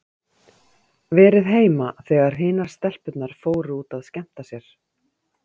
Verið heima þegar hinar stelpurnar fóru út að skemmta sér.